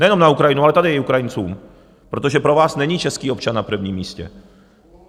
Nejenom na Ukrajinu, ale tady i Ukrajincům, protože pro vás není český občan na prvním místě.